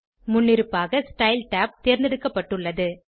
முன்னிருப்பாக style tab தேர்ந்தெடுக்கப்பட்டுள்ளது